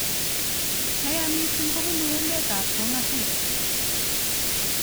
Neyaa missing kobunu emet ab kong asis.